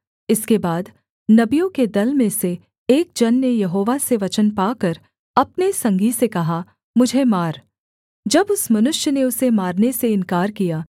इसके बाद नबियों के दल में से एक जन ने यहोवा से वचन पाकर अपने संगी से कहा मुझे मार जब उस मनुष्य ने उसे मारने से इन्कार किया